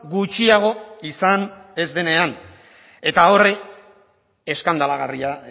gutxiago izan ez denean eta hori eskandalagarria